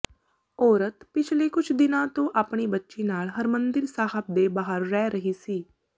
ਔਰਤ ਪਿਛਲੇ ਕੁਝ ਦਿਨਾਂ ਤੋਂ ਆਪਣੀ ਬੱਚੀ ਨਾਲ ਹਰਿਮੰਦਿਰ ਸਾਹਿਬ ਦੇ ਬਾਹਰ ਰਹਿ ਰਹੀ ਸੀ